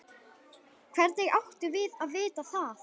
Hvernig áttum við að vita það?